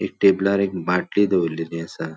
एक टेबलार एक बाटली दोवोरलेली असा.